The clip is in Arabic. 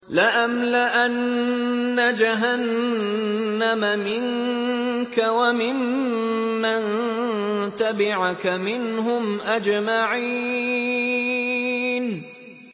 لَأَمْلَأَنَّ جَهَنَّمَ مِنكَ وَمِمَّن تَبِعَكَ مِنْهُمْ أَجْمَعِينَ